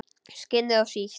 Skinnið of sítt.